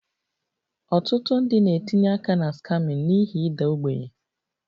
Ọtụtụ ndị na-etinye aka na scamming n'ihi ịda ogbenye